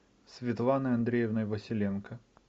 светланой андреевной василенко